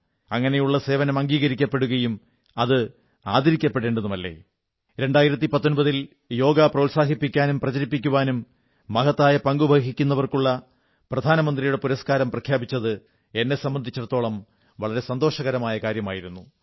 അങ്ങനെയുള്ള സേവനം അംഗീകരിക്കപ്പെടുകയും അത് ആദരിക്കപ്പെടേണ്ടതുമല്ലേ 2019ൽ യോഗ പ്രോത്സാഹിപ്പിക്കാനും പ്രചരിപ്പിക്കാനും മഹത്തായ പങ്കുവഹിക്കുന്നവർക്കുള്ള പ്രധാനമന്ത്രിയുടെ പുരസ്കാരം പ്രഖ്യാപിച്ചത് എന്നെ സംബന്ധിച്ചിടത്തോളം വളരെ സന്തോഷകരമായ കാര്യമായിരുന്നു